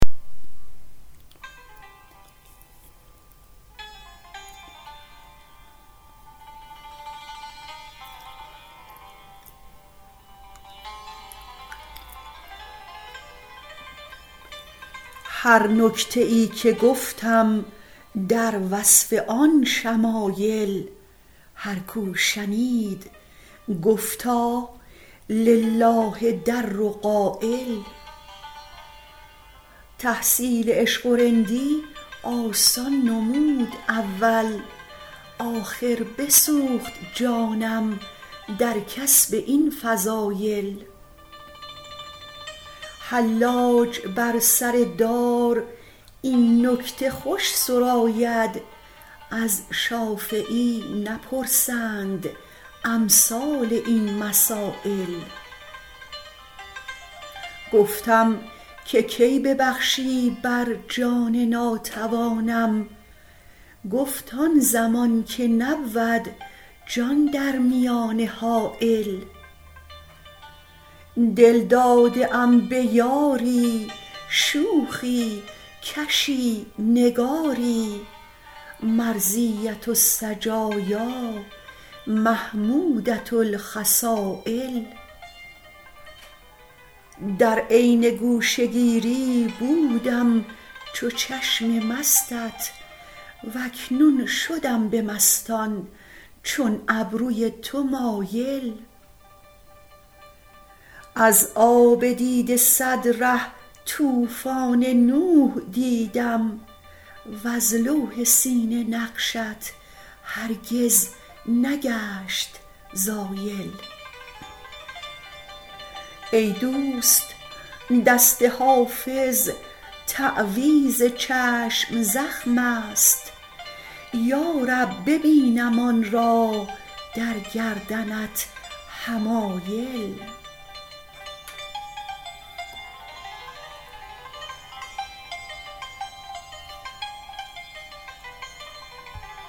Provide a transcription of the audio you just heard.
هر نکته ای که گفتم در وصف آن شمایل هر کو شنید گفتا لله در قایل تحصیل عشق و رندی آسان نمود اول آخر بسوخت جانم در کسب این فضایل حلاج بر سر دار این نکته خوش سراید از شافعی نپرسند امثال این مسایل گفتم که کی ببخشی بر جان ناتوانم گفت آن زمان که نبود جان در میانه حایل دل داده ام به یاری شوخی کشی نگاری مرضیة السجایا محمودة الخصایل در عین گوشه گیری بودم چو چشم مستت و اکنون شدم به مستان چون ابروی تو مایل از آب دیده صد ره طوفان نوح دیدم وز لوح سینه نقشت هرگز نگشت زایل ای دوست دست حافظ تعویذ چشم زخم است یا رب ببینم آن را در گردنت حمایل